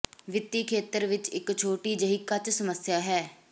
ਵਿੱਤੀ ਖੇਤਰ ਵਿੱਚ ਇੱਕ ਛੋਟੀ ਜਿਹੀ ਕੱਚਾ ਸਮੱਸਿਆ ਹੈ